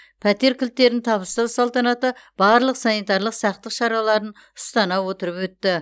пәтер кілттерін табыстау салтанаты барлық санитарлық сақтық шараларын ұстана отырып өтті